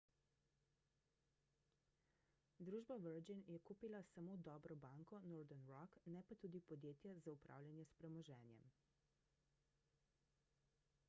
družba virgin je kupila samo »dobro banko« northern rock ne pa tudi podjetja za upravljanje s premoženjem